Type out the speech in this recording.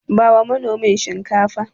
Bawa manomin Shinkafar.